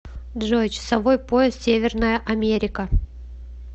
джой часовой пояс северная америка